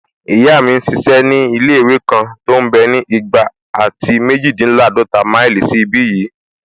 Ìyá mi n ṣiṣẹ́ ní ilé-ìwé kan tó mbẹ́ ní igba àti méjìdínláàdọ́ta máìlì sí ìbi yìí